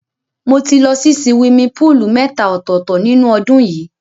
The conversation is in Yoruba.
Mo ti lọ sí siwimi póòlù mẹ́ta ọ̀tọ̀ọ̀tọ̀ nínú ọdún yìí.